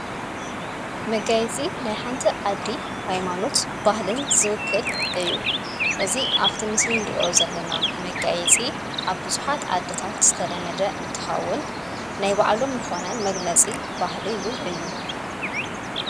መጋይፂ ናይሓንቲ ኣዲ ኃይማኑት ባህልን ዝውክል እዩ እዙ ኣብቲ ምስልን ርእዮ ዘለና መጋይጺ ኣብ ብዙኃት ዓደታት ዝተደመደ እንተኻውን ናይ ባዕሎም ንኾነ መግለጺ ባህልይውን እዩ።